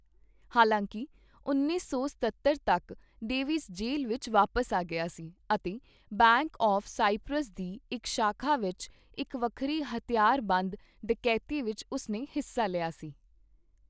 ਹਾਲਾਂਕਿ, ਉੱਨੀ ਸੌ ਸਤੱਤਰ ਤੱਕ, ਡੇਵਿਸ ਜੇਲ੍ਹ ਵਿੱਚ ਵਾਪਸ ਆ ਗਿਆ ਸੀ ਅਤੇ ਬੈਂਕ ਆਫ਼਼ ਸਾਈਪ੍ਰਸ ਦੀ ਇੱਕ ਸ਼ਾਖਾ ਵਿੱਚ, ਇੱਕ ਵੱਖਰੀ ਹਥਿਆਰਬੰਦ ਡਕੈਤੀ ਵਿੱਚ ਉਸਨੇ ਹਿੱਸਾ ਲਿਆ ਸੀ।